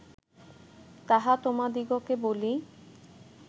তাহা তোমাদিগকে বলি